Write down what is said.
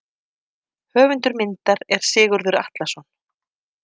Höfundur myndar er Sigurður Atlason.